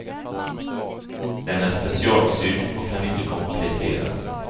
Den är specialsydd och kan inte kompletteras.